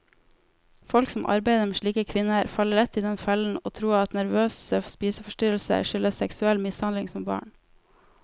Folk som arbeider med slike kvinner, faller lett i den fellen å tro at nervøse spiseforstyrrelser skyldes seksuell mishandling som barn.